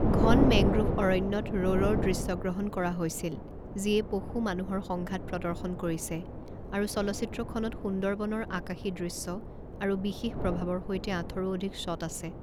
ঘন মেংগ্ৰোভ অৰণ্যত ৰ'ৰৰ দৃশ্যগ্ৰহণ কৰা হৈছিল যিয়ে পশু মানুহৰ সংঘাত প্ৰদৰ্শন কৰিছে আৰু চলচ্চিত্ৰখনত সুন্দৰবনৰ আকাশী দৃশ্য আৰু বিশেষ প্ৰভাৱৰ সৈতে আঠৰো অধিক শ্বট আছে।